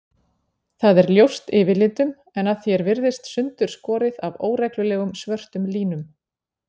Það er ljóst yfirlitum en að því er virðist sundurskorið af óreglulegum, svörtum línum.